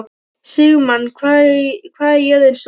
Sigmann, hvað er jörðin stór?